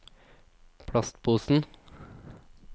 plastposen